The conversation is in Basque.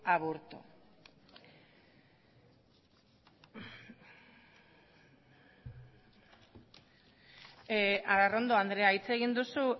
aburto arrondo andrea hitz egin duzu